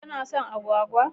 Kano son agwagwa?